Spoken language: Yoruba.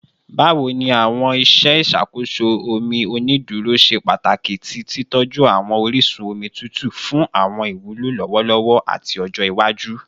Bawo ni awọn iṣe iṣakoso omi oniduro ṣe pataki ni titọju awọn orisun omi tutu fun awọn iwulo lọwọlọwọ ati ọjọ iwaju?